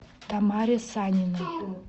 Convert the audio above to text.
тамаре саниной